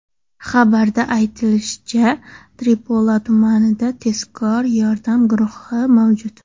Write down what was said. Xabarda aytilishicha, Tripoli tumanida tezkor yordam guruhi mavjud.